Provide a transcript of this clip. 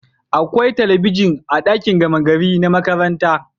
Akwai talabijin a dakin gama gari na makaranta